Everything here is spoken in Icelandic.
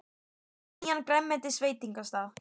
Þau fóru á nýjan grænmetisveitingastað.